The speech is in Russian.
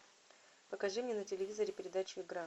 покажи мне на телевизоре передачу игра